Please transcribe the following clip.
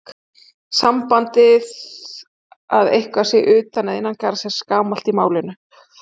Sambandið að eitthvað sé utan eða innan garðs er gamalt í málinu.